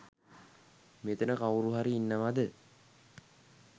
මෙතන කවුරු හරි ඉන්නවද